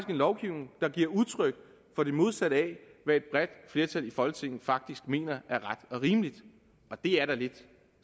en lovgivning der giver udtryk for det modsatte af hvad et bredt flertal i folketinget faktisk mener er ret og rimeligt og det er da lidt